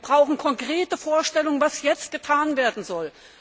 Wir brauchen konkrete Vorstellungen, was jetzt getan werden soll.